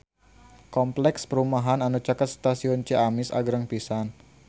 Kompleks perumahan anu caket Stasiun Ciamis agreng pisan